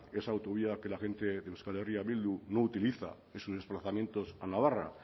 esa autovía que la gente de euskal herria bildu no utiliza en sus desplazamientos a narra